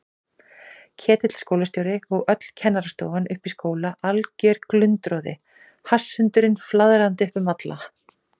Ketill skólastjóri og öll kennarastofan uppi í skóla, alger glundroði, hasshundurinn flaðrandi upp um alla.